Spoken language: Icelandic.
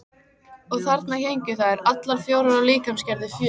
Og þarna héngu þær, allar fjórar af líkamsgerð fjögur.